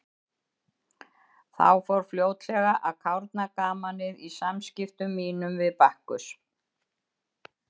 Þá fór fljótlega að kárna gamanið í samskiptum mínum við Bakkus.